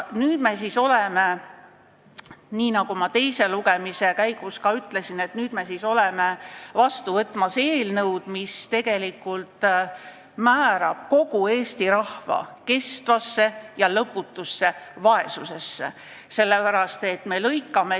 Nüüd me siis oleme, nagu ma teise lugemise käigus ka ütlesin, vastu võtmas seadust, mis tegelikult määrab kogu Eesti rahva kestvasse ja lõputusse vaesusesse.